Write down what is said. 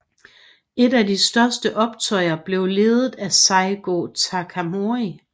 Et af de største optøjer blev ledet af Saigō Takamori